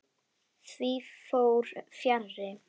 Því fór fjarri.